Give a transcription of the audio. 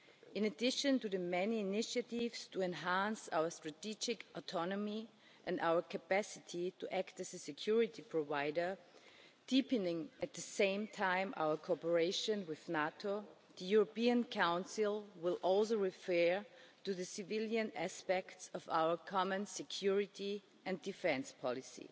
In addition to the many initiatives to enhance our strategic autonomy and our capacity to act as a security provider, deepening at the same time our cooperation with NATO, the European Council will also refer to the civilian aspects of our common security and defence policy.